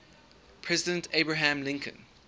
president abraham lincoln